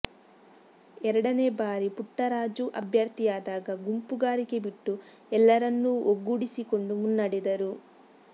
ಎರಡನೇ ಬಾರಿ ಪುಟ್ಟರಾಜು ಅಭ್ಯರ್ಥಿಯಾದಾಗ ಗುಂಪುಗಾರಿಕೆ ಬಿಟ್ಟು ಎಲ್ಲರನ್ನೂ ಒಗ್ಗೂಡಿಸಿಕೊಂಡು ಮುನ್ನಡೆದರು